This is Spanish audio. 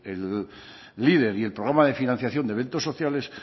leader y el programa de financiación de eventos sociales